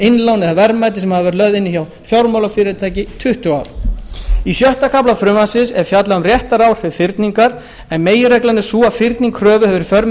innlán eða verðmæti sem hafa verið lögð inn hjá fjármálafyrirtæki tuttugu ár í sjötta kafla frumvarpsins er fjallað um réttaráhrif fyrningar en meginreglan er sú að fyrning kröfu hefur í för með